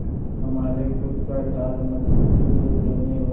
हमारे खुद का साथ मजबूती से देने और